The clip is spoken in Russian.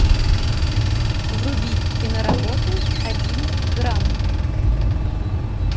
вруби киноработу один грамм